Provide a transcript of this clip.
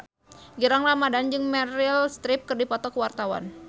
Gilang Ramadan jeung Meryl Streep keur dipoto ku wartawan